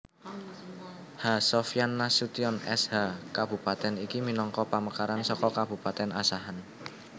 H Sofyan Nasution S H Kabupatèn iki minangka pamekaran saka Kabupatèn Asahan